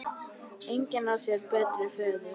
Engin á sér betri föður.